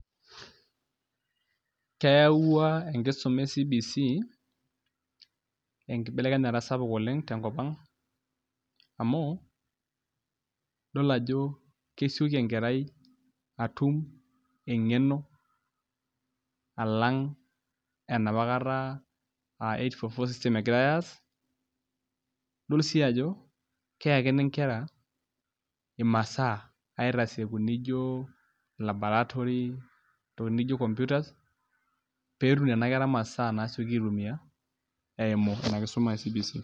keewau enkisuma e cbc enkibelekenyata sapuk tenkop ang engeno. amu idol ajo kesioki enkerai atum engeno, alang enapakata aa eight four four system egirae aas. idol sii ajo keyakini nkera imasaa, aitasieku naijo labarotory intokitin naijo computers .pee etum nena kera imasaa nasioki aitumia eimu ina kisuma e cbc.